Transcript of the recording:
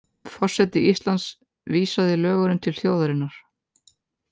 Forseti Íslands vísaði lögunum til þjóðarinnar